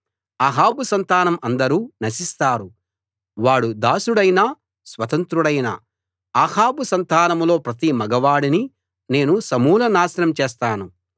అహాబు సంతానం అందరూ నశిస్తారు వాడు దాసుడైనా స్వతంత్రుడైనా అహాబు సంతానంలో ప్రతి మగవాడినీ నేను సమూలనాశనం చేస్తాను